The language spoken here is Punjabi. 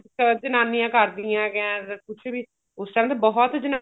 ਅਹ ਜਨਾਨੀਆ ਕਰਦੀਆਂ ਕਿਆ ਕੁੱਝ ਵੀ ਉਸ time ਤਾਂ ਬਹੁਤ